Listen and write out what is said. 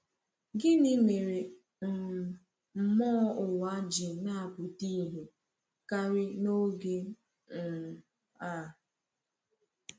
Gịnị mere um mmụọ ụwa ji na-apụta ìhè karị n’oge um a?